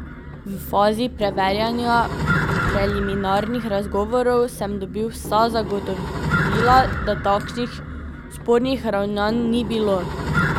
V fazi preverjanja, preliminarnih razgovorov, sem dobil vsa zagotovila da takšnih spornih ravnanj ni bilo.